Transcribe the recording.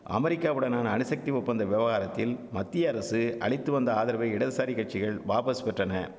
அமெரிக்காவுடனான அணுசக்தி ஒப்பந்த விவகாரத்தில் மத்திய அரசு அளித்துவந்த ஆதரவை இடதுசாரி கட்சிகள் வாபஸ் பெற்றன